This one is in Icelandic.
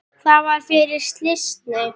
Það var fyrir slysni.